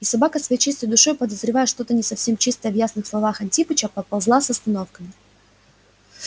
и собака своей чистой душой подозревая что-то не совсем чистое в ясных словах антипыча поползла с остановками